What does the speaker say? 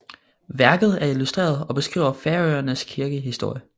Værket er illustreret og beskriver Færøernes kirkehistorie